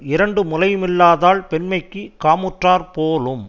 இரண்டு முலையுமில்லாதாள் பெண்மைக்குக் காமுற்றாற்போலும்